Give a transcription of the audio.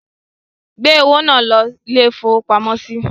Gbé owó náà lọ ilé-ìfowópamọ́sí!